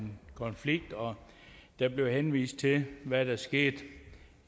konflikt og der bliver henvist til hvad der skete